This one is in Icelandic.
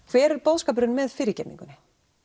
hver er boðskapurinn með fyrirgefningunni